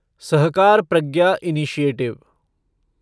Sahakar Pragya initiative